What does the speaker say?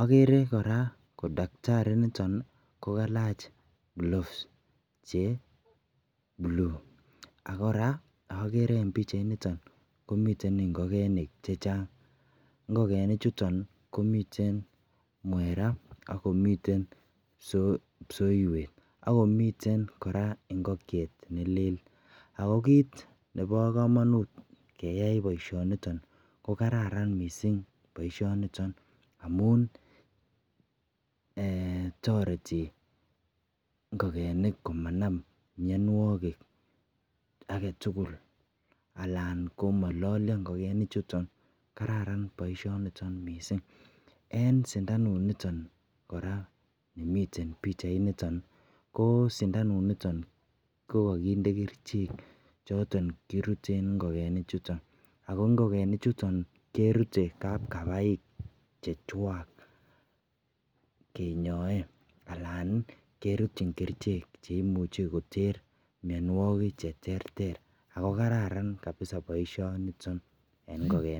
agere koraa ko daktari initon kokalach cloves Che blue agoraa komiten ingokenik chechang ngogenik chuton komiten mwera akomiten kipsoiwet akomiten koraa ingokiet nelel ako kit Nebo kamanut keyai baishoniton kokararan mising baishoniton toreti ngogenik komanam mianwagik agetugul anan komalalia ingogenik chuton kararan baishoniton mising ako en sindanut niton koraa nemiten bichait niton ko sindanut niton ko kakinde kerchek choton kiruten ingogenik kapkapaik chechwak kenyoe anan keruten kerchek chuton cheimuche koter mianwagik cheterter ako kararan baishoniton en ingokenik